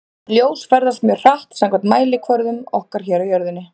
Ljós ferðast mjög hratt samkvæmt mælikvörðum okkar hér á jörðinni.